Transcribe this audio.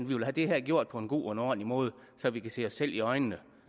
vi vil have det her gjort på en god og ordentlig måde så vi kan se os selv i øjnene